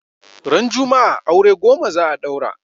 Ran juma'a aure goma za a daura